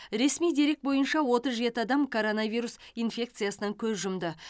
ресми дерек бойынша отыз жеті адам коронавирус инфекциясынан көз жұмды